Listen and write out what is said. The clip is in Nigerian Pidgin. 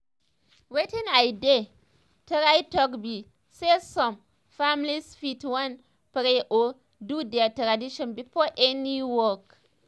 wetin i dey um try um talk be saysome um families fit wan pray or do their tradition before any hospital work